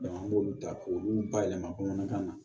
an b'olu ta k'olu bayɛlɛma bamanankan na